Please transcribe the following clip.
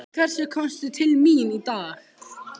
Til hvers komstu til mín í dag?